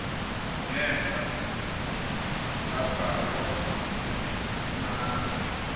ngenhla tabhalwa nami